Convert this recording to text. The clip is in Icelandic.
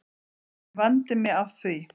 En ég vandi mig af því